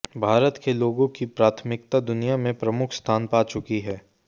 भारत के लोगों की प्राथमिकता दुनिया में प्रमुख स्थान पा चुकी है